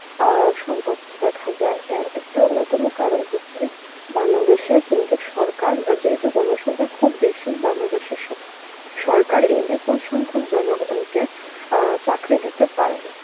আ সংকট দেখা যায় এর একটি অন্যতম কারণ হচ্ছে বাংলাদেশে কিন্তু সরকার যেহেতু জনসংখ্যা খুব বেশি বাংলাদেশের সর~ সরকার এই বিপুল সংখ্যক জনগণকে, অ্যাঁ চাকরি দিতে পারে না